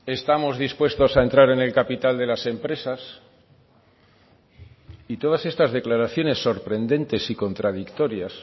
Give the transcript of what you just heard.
estamos dispuestos a entrar en el capital de las empresas y todas estas declaraciones sorprendentes y contradictorias